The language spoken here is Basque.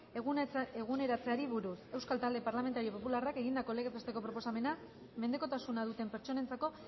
eguneratzeari buruz euskal talde parlamentario popularrak egindako legez besteko proposamena mendekotasuna duten pertsonentzako